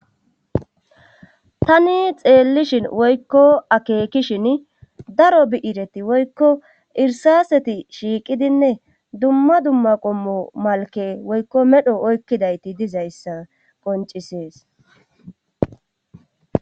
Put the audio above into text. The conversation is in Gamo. tani xeellishin woykko akeekishin daro bi7ireti woykko irsaseti shiiqidinne dumma dumma qommo malke woykko medho oykkidayti dizayssa qoncisees